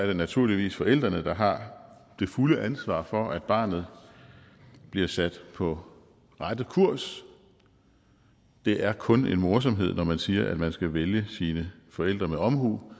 det naturligvis forældrene der har det fulde ansvar for at barnet bliver sat på rette kurs det er kun en morsomhed når man siger at man skal vælge sine forældre med omhu